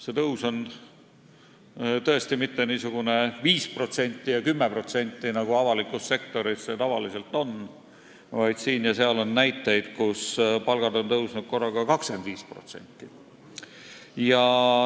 See tõus ei ole tõesti mitte 5% ja 10%, nagu avalikus sektoris tavaliselt on, vaid siin ja seal on näiteid, kus palgad on tõusnud korraga 25%.